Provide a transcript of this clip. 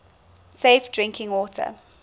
safe drinking water